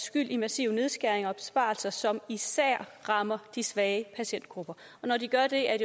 skyld i massive nedskæringer og besparelser som især rammer de svage patientgrupper når de gør det er